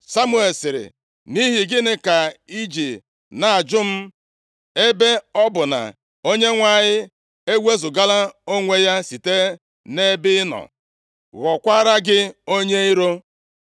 Samuel sịrị, “Nʼihi gịnị ka i ji na-ajụ m, ebe ọ bụ na Onyenwe anyị ewezugala onwe ya site nʼebe ị nọ, ghọọkwara gị onye iro?